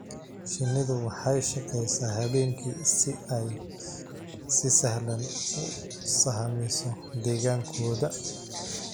Shinnidu waxay shaqeysaa habeenkii si ay si sahlan u sahamiso deegaankooda.